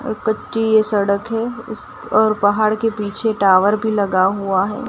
और कच्ची ये सड़क है उस और पहाड़ के पीछे टावर भी लगा हुआ है।